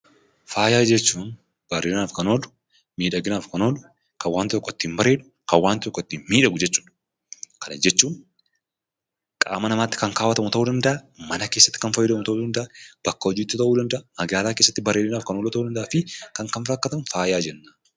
Faayaa jechuun bareedinaaf kan oolu, miidhaginaaf kan oolu, kan waan tokko ittiin bareedu, kan waan tokko ittiin miidhagu jechuudha. Kana jechuun qaama namaatti kan kaawwatamu ta'uu danda'a, mana keessatti kan fayyadamnu ta'uu danda'a, bakka hojiitti ta'uu danda'a, magaalaa keessatti bareeduudhaaf ta'uu danda'aa fi kan kana fakkaatan faaya jenna.